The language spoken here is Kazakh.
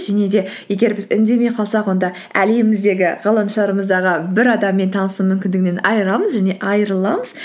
және де егер біз үндемей қалсақ онда әлеміміздегі ғаламшарымыздағы бір адаммен танысу мүмкіндігінен айырыламыз